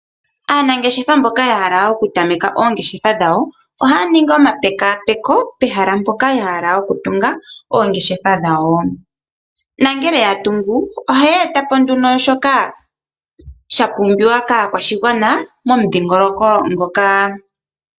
Aanangeshefa mboka ya hala oku tameka oongeshefa dhawo ohaya ningi omapekaapeko pehala mpoka ya hala oku tunga oongeshefa dhawo. Nangele ya tungu ohaye etamo shoka sha pumbiwa kaakwashigwana momudhingoloko ngoka.